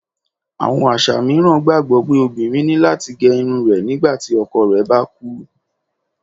Àwọn aṣa miiran gbagbọ pe obirin ni lati ge irun rẹ nigbati ọkọ rẹ ba kú.